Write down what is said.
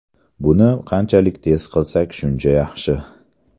Buni qanchalik tez qilsak shuncha yaxshi.